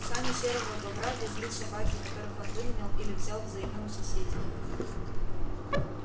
сани серого бобра везли собаки которых он выменял или взял взаймы у соседей